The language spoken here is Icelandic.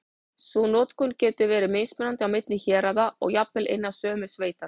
Sú notkun getur verið mismunandi á milli héraða og jafnvel innan sömu sveitar.